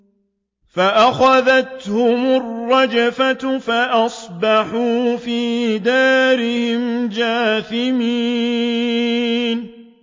فَأَخَذَتْهُمُ الرَّجْفَةُ فَأَصْبَحُوا فِي دَارِهِمْ جَاثِمِينَ